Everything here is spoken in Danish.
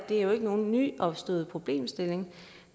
er nogen ny problemstilling